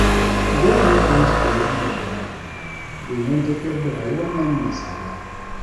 Dole mutane su koyi 'yan dabaru, domin tafiyar da rayuwar nan mai tsada.